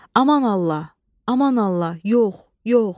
Aman Allah, aman Allah, yox, yox.